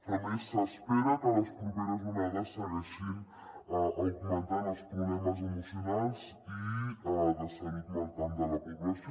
a més s’espera que les properes onades segueixin augmentant els problemes emocionals i de salut mental de la població